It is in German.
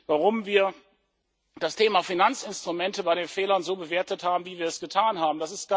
Warum haben wir das Thema Finanzinstrumente bei den Fehlern so bewertet, wie wir es getan haben?